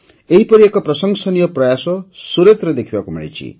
ଏହିପରି ଏକ ପ୍ରଶଂସନୀୟ ପ୍ରୟାସ ସୁରତରେ ଦେଖିବାକୁ ମିଳିଛି